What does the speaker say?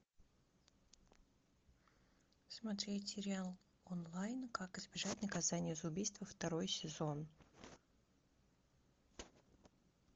смотреть сериал онлайн как избежать наказания за убийство второй сезон